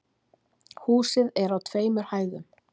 Húsið er á tveimur hæðum